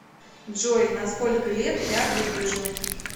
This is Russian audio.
джой на сколько лет я выгляжу